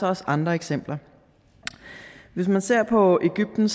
også andre eksempler hvis man ser på egypten